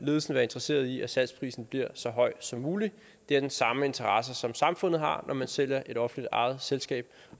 ledelsen være interesseret i at salgsprisen bliver så høj som muligt det er den samme interesse som samfundet har når man sælger et offentligt ejet selskab